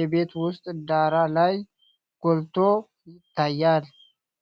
የቤት ውስጥ ዳራ ላይ ጎልቶ ይታያል።